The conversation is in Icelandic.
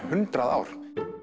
hundrað ár